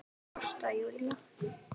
Ásta Júlía.